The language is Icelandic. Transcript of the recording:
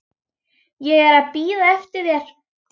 Ég er að bíða eftir þér.